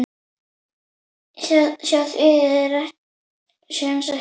Hjá því sé ekki komist.